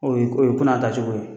O ye ko n'a taa cogo ye.